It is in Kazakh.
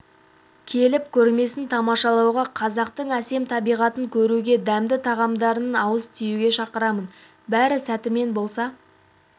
келіп көрмесін тамашалауға қазақтың әсем табиғатын көруге дәмді тағамдарынан ауыз тиюге шақырамын бәрі сәтімен болса